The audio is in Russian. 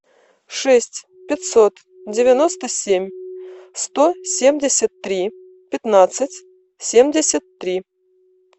шесть пятьсот девяносто семь сто семьдесят три пятнадцать семьдесят три